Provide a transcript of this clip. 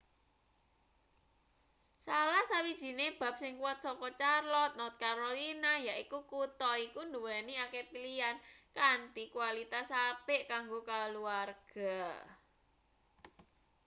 salah sawijine bab sing kuwat saka charlotte north carolina yaiku kutha iki nduweni akeh pilihan kanthi kualitas-apik kanggo kaluwarga